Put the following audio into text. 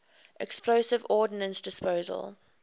explosive ordnance disposal